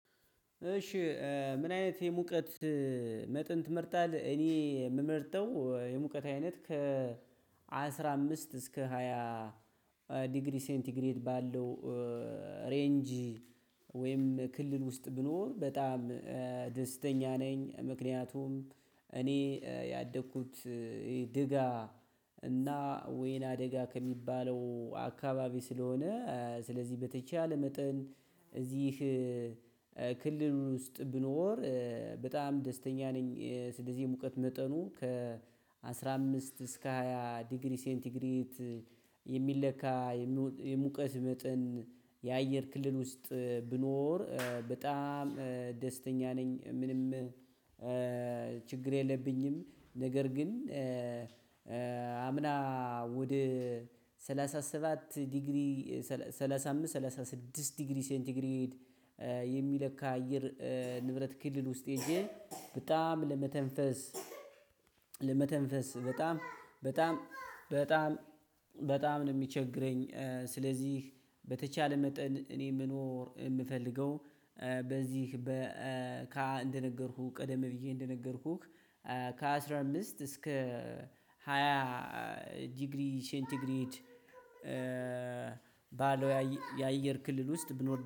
እሺ ምን አይነት የሙቀት መጠን ትመርጣለ? እኔ የምመርጠው የሙቀት አይነት ከ አስራ አምስት እስከ ሃያ ዲግሪ ሴንቲግሬድ ባለው ሬንጅ ወይም ክልል ውስጥ ብኖር በጣም ደስተኛ ነኝ። ምክንያቱም እኔ ያደኩት ደጋ እና ወይናደጋ ከሚባለው አካባቢ ስለሆነ ስለዚህ በተቻለ መጠን እዚህ ክልል ውስጥ ብኖር በጣም ደስተኛ ነኝ። ስለዚህ የሙቀት መጠኑ ከ አስራ አምስት እስከ ሃያ ዲግሪ ሴንቲግሪት የሚለካ የሙቀት መጠን የአየር ክልል ውስጥ ብኖር በጣም ደስተኛ ነኝ፤ ምንም ችግር የለብኝም ነገር ግን አምና ወደ ሰላሣ ሰባት ዲግሪ፤ ሰላሳ አምስት ሰላሳ ስድስት ዲግሪ ሴንቲግሬድ የሚለካ አየር ንብረት ክልል ውስጥ ሄጄ በጣም ለመተንፈስ ለመተንፈስ በጣም በጣም በጣም ነው ሚቸግረኝ። ስለዚህ በተቻለ መጠን እኔ መኖር የምፈልገው በዚህ እንደነገርኩህ ቀደም ብዬ እንደነገርኩህ ከ አስራ አምስት እስከ ሃያ ዲግሪ ሴንቲግሬድ ባለ የአየር ክልል ውስጥ ብኖር